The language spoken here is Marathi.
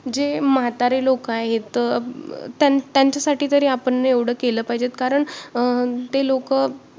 जे म्हातारे लोक आहेत, त्यांच्यासाठी तरी आपण एवढं केलं पाहिजे कारण अं ते लोकं